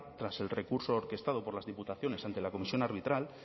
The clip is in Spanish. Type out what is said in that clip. tras el recurso orquestado por las diputaciones ante la comisión arbitral